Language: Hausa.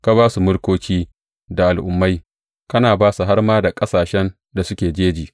Ka ba su mulkoki da al’ummai, kana ba su har ma da ƙasashen da suke jeji.